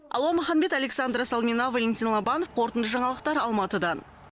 алуа маханбет александра салмина валентин лобанов қорытынды жаңалықтар алматыдан